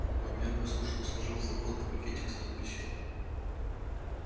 вампир послушно сложил флаконы в пакетик с надписью